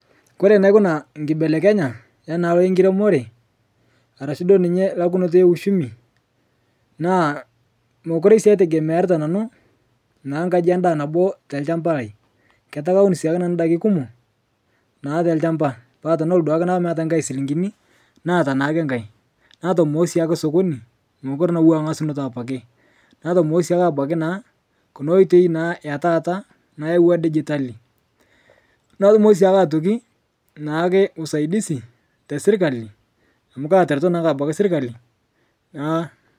Kore naikuna nkibelekenya ena aloo enkiremoree arashu duo ninye lakunotoo euchumi naa mokure sii aitegemearita nanuu naa kaji endaa naboo telshampa lai ketaa kawun sii abaki nanuu ndaki kumoo naa telshampa paa tenelo duake naaku meata ng'ai silinkini naata naake ng'ai natomoo siake sokoni mokure naa etuwaa ngasunoto apake natomoo naa sii abaki naa kuna oitei naa etaata nayeuwaa digitali natumo siake atoki naake usaidizi tesirkali amu katereto naake abaki sirkali naa.